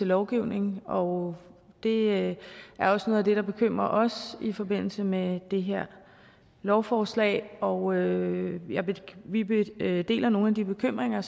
lovgivning og det er også noget af det der bekymrer os i forbindelse med det her lovforslag og vi deler nogle af de bekymringer